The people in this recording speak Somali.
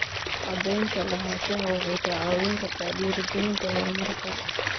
Cadaynta lahaanshaha waxay kaa caawin kartaa dhiirigelinta horumarka.